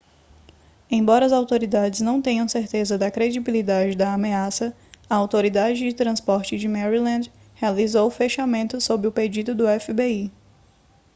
embora as autoridades não tenham certeza da credibilidade da ameaça a autoridade de transporte de maryland realizou o fechamento sob o pedido do fbi